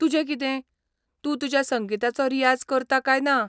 तुजें कितें, तूं तुज्या संगीताचो रियाज करता काय ना?